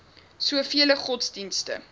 so vele godsdienste